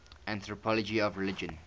anthropology of religion